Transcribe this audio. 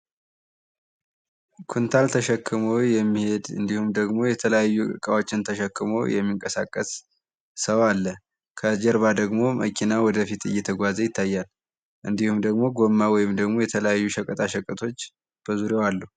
ኩንታል ተሸክሞ የሚሄድ እንዲሁም ደግሞ የተለያዩ እቃዎችን ተሸክሞ የሚንቀሳቀስ ሰው አለ። ከጀርባ ደግሞ መኪና ወደፊት እየተጓዘ ይታያል። እንዲሁም ደግሞ ጎማ ወይም ደግሞ የተለያዩ ሸቀጣሸቀጦች በዙሪያው አሉ።